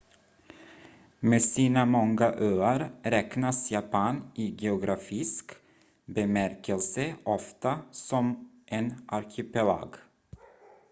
med sina många öar räknas japan i geografisk bemärkelse ofta som en arkipelag